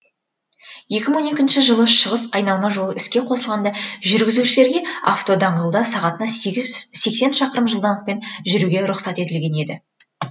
екі мың он екінші жылы шығыс айналма жолы іске қосылғанда жүргізушілерге автодаңғылда сағатына сексен шақырым жылдамдықпен жүруге рұқсат етілген еді